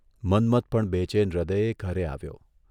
મન્મથ પણ બેચેન હૃદયે ઘરે આવ્યો.